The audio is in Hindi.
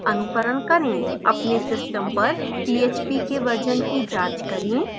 अपने system पर php के version की जाँच करें